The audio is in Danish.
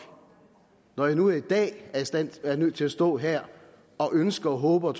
når jeg nu i dag er nødt til at stå her og ønske håbe og